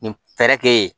Nin fɛɛrɛ kɛ yen